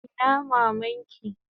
Ina maman ki?